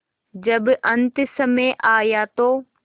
जब अन्तसमय आया तो